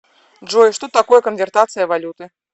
джой что такое конвертация валюты